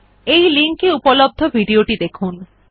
এই লিঙ্ক এ উপলব্ধ ভিডিও টি দেখুন